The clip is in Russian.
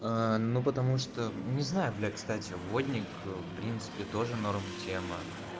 аа ну потому что не знаю бля кстати водник в принципе тоже норм тема